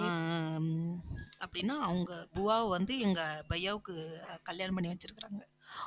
ஆஹ் ஆஹ் ஹம் அப்படின்னா அவங்க buva வை வந்து எங்க bhaiya வுக்கு கல்யாணம் பண்ணி வச்சிருக்கிறாங்க.